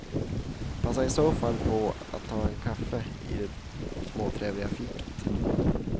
Passa i så fall på att ta en kaffe i det småtrevliga fiket.